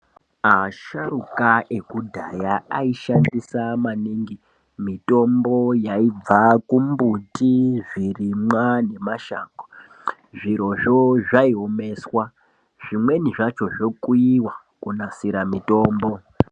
Asharuka ekudhaya aishandisa maningi mitombo yaibva kumbuti zvirimwa nemashango. Zvirozvo zvaiomeswa zvimweni zvacho zvokuiva kunasira mitombo.